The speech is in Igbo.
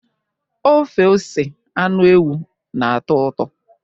ọfe ose anụ ewu na-atọ ụtọ?